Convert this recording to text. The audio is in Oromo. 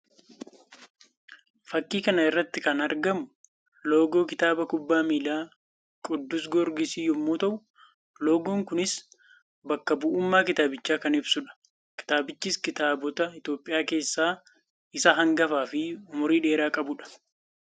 Fakkii kana irratti kan argamu loogoo kilaba kubbaa miilaa Qiddus Gigoorgis yammuu ta'u; loogoon kunis bakka bu'ummaa kilaabicha kan ibsuu dha. Kilabichis kilaboota Itoophiyaa kesssaa isa hangafaa fi umurii dheeraa qabuu dha.